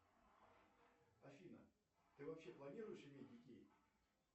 афина ты вообще планируешь иметь детей